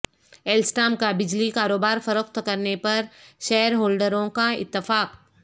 Alstom کا بجلی کاروبار فروخت کرنے پر شیئر ہولڈ روں کا اتفاق